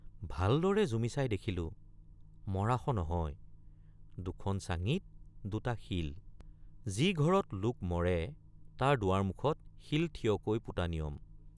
ভালদৰে জুমি চাই দেখিলোঁ মৰাশ নহয় দুখন চাঙিত দুটা শিল ৷ যি ঘৰত লোক মৰে তাৰ দুৱাৰমুখত শিল থিয়কৈ পোতা নিয়ম ।